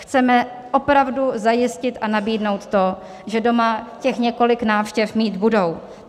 Chceme opravdu zajistit a nabídnout to, že doma těch několik návštěv mít budou.